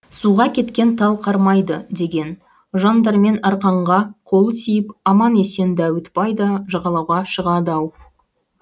суға кеткен тал қармайды деген жан дәрмен арқанға қолы тиіп аман есен дәуітбай да жағалауға шығады ау